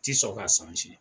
Ti sɔn k'a